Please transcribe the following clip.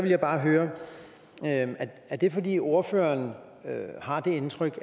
jeg bare høre er det fordi ordføreren har det indtryk